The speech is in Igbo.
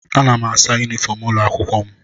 Ana m asa yunifọm ụlọ akwụkwọ m